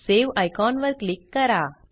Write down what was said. save icon वर click करा